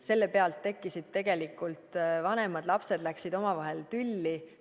Selle pealt tekkisid tegelikult tülid, vanemad ja lapsed läksid omavahel tülli.